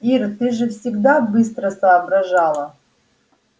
ир ты же всегда быстро соображала